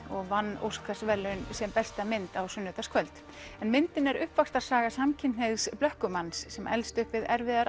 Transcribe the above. og vann Óskarsverðlaun sem besta mynd á sunnudagskvöld en myndin er uppvaxtarsaga samkynhneigðs blökkumanns sem elst upp við erfiðar